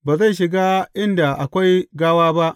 Ba zai shiga inda akwai gawa ba.